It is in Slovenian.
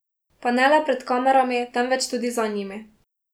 Pa ne le pred kamerami, temveč tudi za njimi.